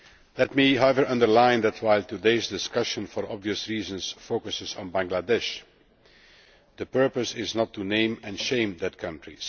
Let me underline, however, that while today's discussion for obvious reasons focuses on Bangladesh, the purpose is not to name and shame that country.